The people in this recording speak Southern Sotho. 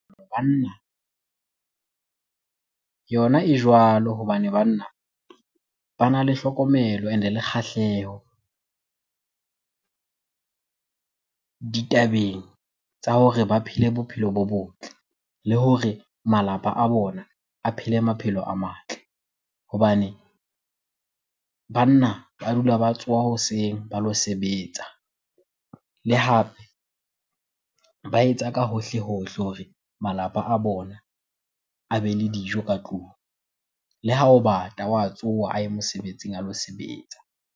Banna, yona e jwalo. Hobane banna bana le hlokomelo and-e le kgahleho ditabeng tsa hore ba phele bophelo bo botle le hore malapa a bona a phele maphelo a matle. Hobane banna ba dula ba tsoha hoseng ba lo sebetsa le hape ba etsa ka hohle hohle hore malapa a bona a bele dijo ka tlung. Le ha ho bata, wa tsoha a ye mosebetsing a lo sebetsa.